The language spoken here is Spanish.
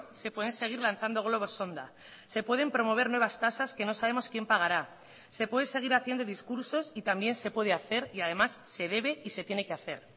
se pueden seguir lanzando globos sonda se pueden promover nuevas tasas que no sabemos quién pagará se puede seguir haciendo discursos y también se puede hacer y además se debe y se tiene que hacer